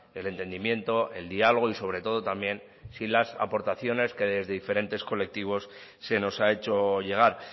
el entendimiento el dialogo y sobre todo también sin las aportaciones que desde diferentes colectivos se nos ha hecho llegar